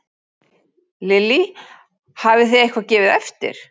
Lillý: Hafið þið eitthvað gefið eftir?